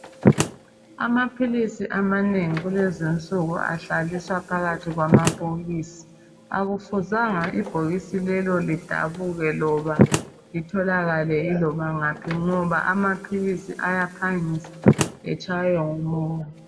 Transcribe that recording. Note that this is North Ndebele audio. Amaphilisi amanengi kulezinsuku ahlaliswa phakathi kwamabhokisi, akufuzanga ibhokisi lelo lidabuke loba lithokakale iloba ngaphi ngoba amaphilisi ayaphangisa etshaywe ngumoya.